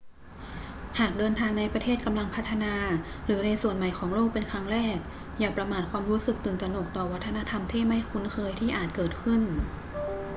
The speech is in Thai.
หากเดินทางในประเทศกำลังพัฒนาหรือในส่วนใหม่ของโลกเป็นครั้งแรก อย่าประมาทความรู้สึกตื่นตระหนกต่อวัฒนธรรมที่ไม่คุ้นเคยที่อาจเกิดขึ้น